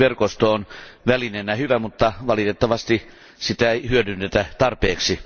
SOLVIT verkosto on välineenä hyvä, mutta valitettavasti sitä ei hyödynnetä tarpeeksi.